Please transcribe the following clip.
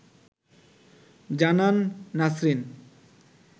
জানান নাসরিন